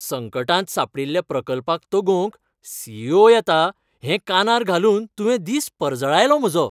संकटांत सांपडील्ल्या प्रकल्पाक तगोवंक सी. ई. ओ. येता हें कानार घालून तुवें दीस परजळायलो म्हजो!